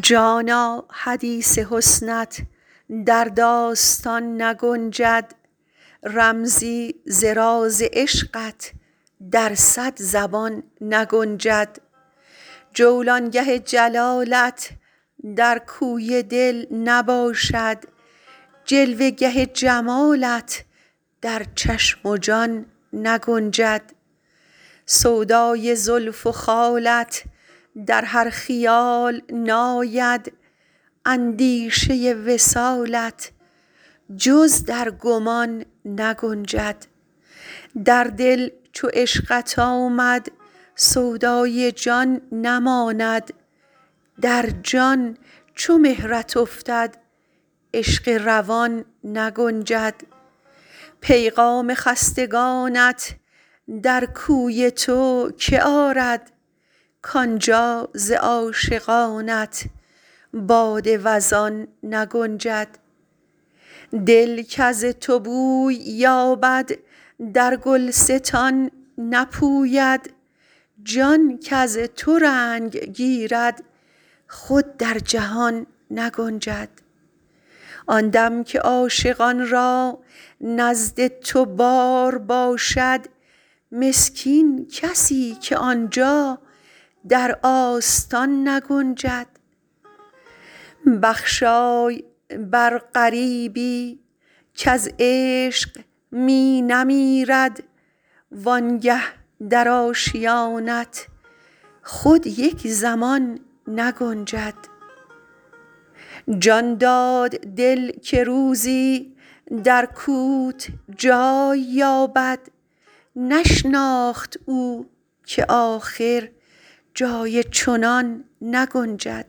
جانا حدیث حسنت در داستان نگنجد رمزی ز راز عشقت در صد زبان نگنجد جولانگه جلالت در کوی دل نباشد جلوه گه جمالت در چشم و جان نگنجد سودای زلف و خالت در هر خیال ناید اندیشه وصالت جز در گمان نگنجد در دل چو عشقت آمد سودای جان نماند در جان چو مهرت افتد عشق روان نگنجد پیغام خستگانت در کوی تو که آرد کانجا ز عاشقانت باد وزان نگنجد دل کز تو بوی یابد در گلستان نپوید جان کز تو رنگ گیرد خود در جهان نگنجد آن دم که عاشقان را نزد تو بار باشد مسکین کسی که آنجا در آستان نگنجد بخشای بر غریبی کز عشق می نمیرد وانگه در آشیانت خود یک زمان نگنجد جان داد دل که روزی در کوت جای یابد نشناخت او که آخر جای چنان نگنجد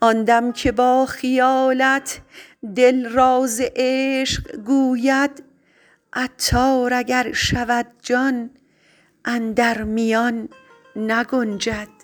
آن دم که با خیالت دل راز عشق گوید عطار اگر شود جان اندر میان نگنجد